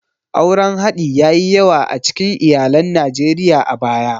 Auren haɗi ya yi yawa a cikin iyalan Najeriya a baya.